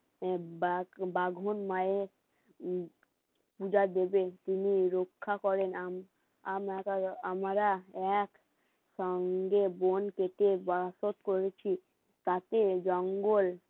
দেব বা যে বাঘন মায়ের উম পূজা দেবে তিনি রক্ষা করেন আম আমরা আমরা এক সঙ্গে বোন কেটে বাসও করেছি তাতে জঙ্গল